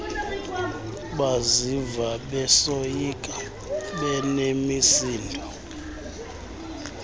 baziva besoyika benemisindo